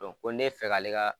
Dɔn ko ne fɛ k'ale ka